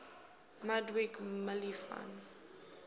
ludwig mies van